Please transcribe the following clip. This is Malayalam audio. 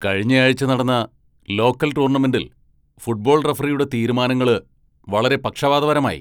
കഴിഞ്ഞയാഴ്ച നടന്ന ലോക്കൽ ടൂർണമെന്റിൽ ഫുട്ബോൾ റഫറിയുടെ തീരുമാനങ്ങള് വളരെ പക്ഷപാതപരമായി.